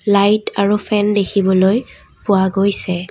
Light আৰু fan দেখিবলৈ পোৱা গৈছে।